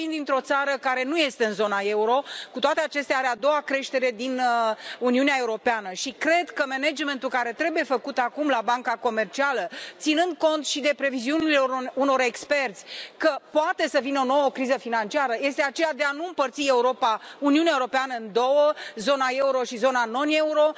Eu vin dintr o țară care nu este în zona euro, dar, cu toate acestea, înregistrează a doua creștere din Uniunea Europeană și cred că managementul care trebuie făcut acum la Banca Centrală, ținând cont și de previziunile unor experți, că poate să vină o nouă criză financiară, este acela de a nu împărți Uniunea Europeană în două zona euro și zona non euro.